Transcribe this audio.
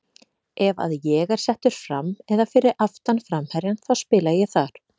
Ef að ég er settur fram eða fyrir aftan framherjann þá spila ég þar.